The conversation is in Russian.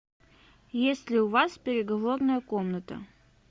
есть ли у вас переговорная комната